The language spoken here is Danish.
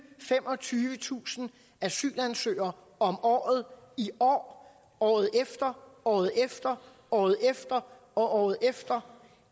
femogtyvetusind asylansøgere om året i år året efter året efter året efter og året efter